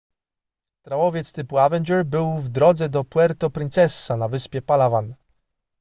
trałowiec typu avenger był w drodze do puerto princesa na wyspie palawan